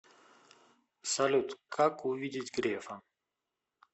салют как увидеть грефа